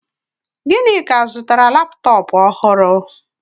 Ginika zụtara laptọọpụ ọhụrụ